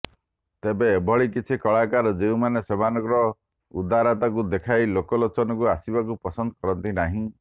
ତେବେ ଏଭଳି କିଛି କଳାକାର ଯେଉଁମାନ ସେମାନଙ୍କ ଉଦାରତାକୁ ଦେଖାଇ ଲୋକଲୋଚନକୁ ଆସିବାକୁ ପସନ୍ଦ କରନ୍ତି ନାହିଁ